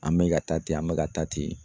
An mɛ ka taa ten an bɛ ka taa ten.